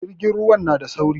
Jirgin ruwan na da sauri